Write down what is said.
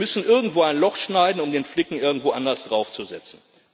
Wir müssen irgendwo ein Loch schneiden, um den Flicken irgendwo anders draufzusetzen.